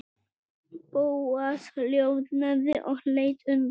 Bóas hljóðnaði og leit undan.